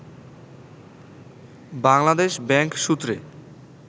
Bangladesh bank সূত্রে